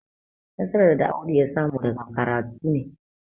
nasarar da Audu ya samu daga karatu ne.